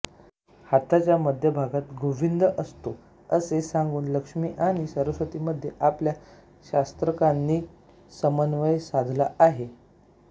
हाताच्या मध्यभागात गोविंद वसतो असे सांगून लक्ष्मी आणि सरस्वती मध्ये आपल्या शास्त्रकारांनी समन्वय साधला आहे